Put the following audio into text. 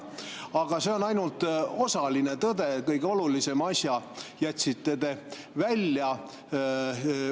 Aga see on ainult osaline tõde, kõige olulisema asja jätsite te välja.